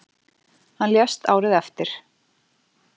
Hann lést árið eftir.